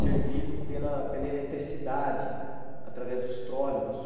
servido pela pela eletricidade, através dos trólebus.